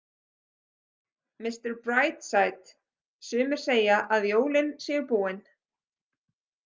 Mister Brightside Sumir segja að jólin séu búin.